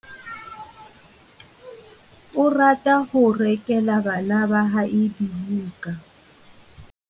O rata ho rekela bana ba hae dibuka.